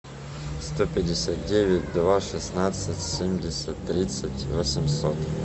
сто пятьдесят девять два шестнадцать семьдесят тридцать восемьсот